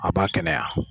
A b'a kɛnɛya